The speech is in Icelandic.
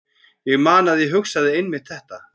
Ég man að ég hugsaði einmitt þetta.